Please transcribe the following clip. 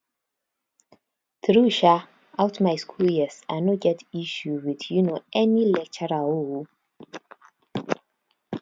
through um out my school years i no get issue with um any lecturer o o